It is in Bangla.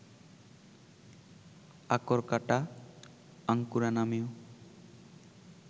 আকরকাঁটা, আঙ্কুরা নামেও